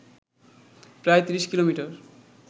প্রায় ৩০ কিলোমিটার